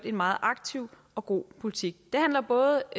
en meget aktiv og god politik det handler både